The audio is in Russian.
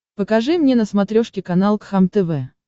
покажи мне на смотрешке канал кхлм тв